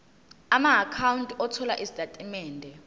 amaakhawunti othola izitatimende